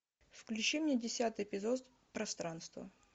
включи мне десятый эпизод пространство